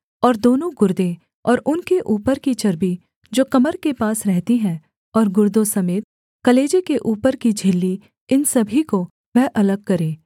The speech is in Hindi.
और दोनों गुर्दे और उनके ऊपर की चर्बी जो कमर के पास रहती है और गुर्दों समेत कलेजे के ऊपर की झिल्ली इन सभी को वह अलग करे